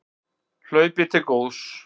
Hlaupið til góðs